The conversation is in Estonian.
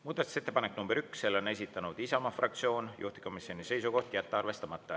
Muudatusettepanek nr 1, selle on esitanud Isamaa fraktsioon, juhtivkomisjoni seisukoht on jätta see arvestamata.